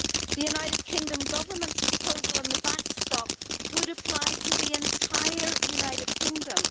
The United Kingdom Government's proposal on the backstop would apply to the entire United Kingdom.